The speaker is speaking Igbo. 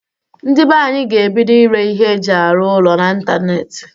Ndị be anyị ga-ebido ire ihe eji arụ ụlọ na ntanetị.